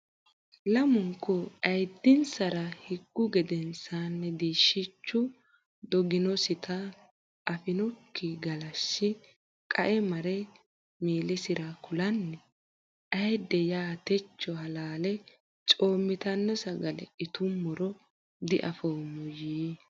Lamunku ayiddinsara higgu gedensaanni diishshichu doginosita afinokki galashshi qae mare miillasira kulanni Ayidde ya techo halaale coommitanno sagale itummoro diafoommo yii.